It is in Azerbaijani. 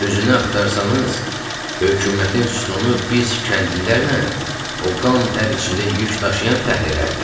Düzünü axtarsanız, hökumətin sütunu biz kəndlilərlə o qan-tər içində yük daşıyan fəhlələrdir.